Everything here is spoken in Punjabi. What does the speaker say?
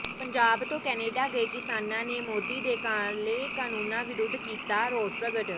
ਪੰਜਾਬ ਤੋਂ ਕੈਨੇਡਾ ਗਏ ਕਿਸਾਨਾਂ ਨੇ ਮੋਦੀ ਦੇ ਕਾਲੇ ਕਾਨੂੰਨਾਂ ਵਿਰੁੱਧ ਕੀਤਾ ਰੋਸ ਪ੍ਰਗਟ